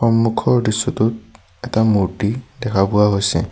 মন্মুখৰ দৃশ্যটোত এটা মূৰ্ত্তি দেখা পোৱা গৈছে।